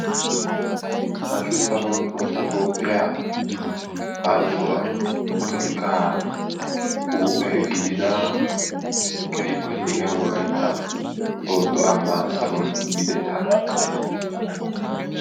Hashshu saruwan Tohossa Toophiyaa Ayssuwan potolikka huuphe gidida keehippe lo"iyaa Wolaytta Sooddo ambba saruwaan yiidetta.